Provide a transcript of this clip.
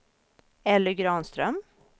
Elly Granström